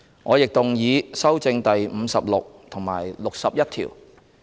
我亦動議修正第56及61條。